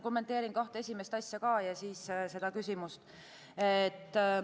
Kommenteerin kahte esimest mõtet ja siis küsimust.